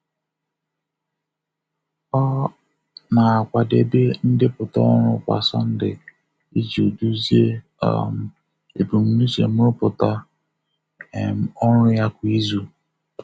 Ọ um na-akwadebe ndepụta ọrụ kwa Sọnde iji duzie um ebumnuche nrụpụta um ọrụ ya kwa izu.